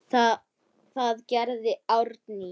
Það gerði Árný.